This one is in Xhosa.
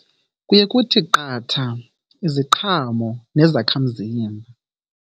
Kuye kuthi qatha iziqhamo nezakhamzimba.